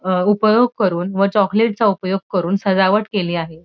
अ उपयोग करून व चॉकलेटचा उपयोग करून सजावट केली आहे.